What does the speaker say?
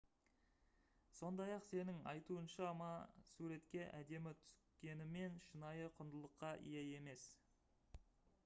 сондай-ақ сеның айтуынша ма суретке әдемі түскенімен шынайы құндылыққа ие емес